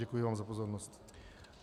Děkuji vám za pozornost.